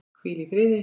Hvíl í friði.